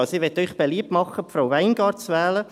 Ich möchte Ihnen beliebt machen, Frau Weingart zu wählen.